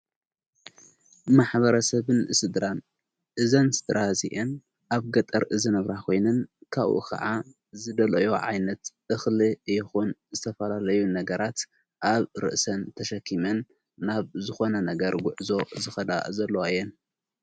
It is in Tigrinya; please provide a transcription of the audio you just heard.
ማኅበረ ሰብን ስድራ እዘንስ ድራ ዚአን ኣብ ገጠር ዝነብራ ኾይንን ካብኡ ኸዓ ዝደለዮ ዓይነት እኽሊ ይኹን ዝተፈላለዩ ነገራት ኣብ ርእሰን ተሸኪምን ናብ ዝኾነ ነገር ጕዕዞ ዝኸዳ ዘለዋ እየን።